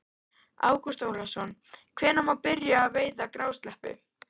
Ágúst Ólafsson: Hvenær má byrja að veiða grásleppu?